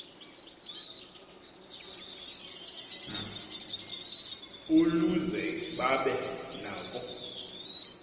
uluze babe nako